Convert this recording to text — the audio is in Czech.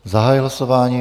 Zahajuji hlasování.